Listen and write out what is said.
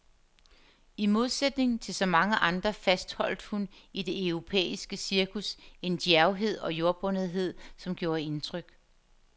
I modsætning til så mange andre fastholdt hun i det europæiske cirkus en djærvhed og jordbundethed, som gjorde indtryk.